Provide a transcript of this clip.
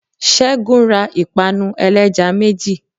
segun ra ipanú eleja mejí